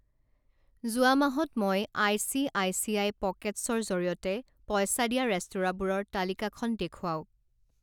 যোৱা মাহত মই I C I C I পকেটছৰ জৰিয়তে পইচা দিয়া ৰেস্তোৰাঁবোৰৰ তালিকাখন দেখুৱাওক।